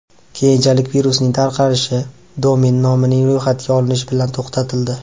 Keyinchalik virusning tarqalishi domen nomining ro‘yxatga olinishi bilan to‘xtatildi.